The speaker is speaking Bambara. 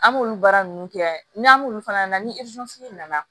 An b'olu baara ninnu kɛ yan n'an m'olu fana ni nana